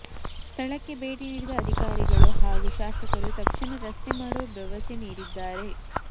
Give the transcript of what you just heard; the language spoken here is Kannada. ಸ್ಥಳಕ್ಕೆ ಭೇಟಿ ನೀಡಿದ ಅಧಿಕಾರಿಗಳು ಹಾಗೂ ಶಾಸಕರು ತಕ್ಷಣ ರಸ್ತೆ ಮಾಡುವ ಭರವಸೆ ನೀಡಿದ್ದಾರೆ